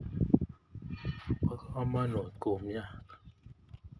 Po kamonut kumyat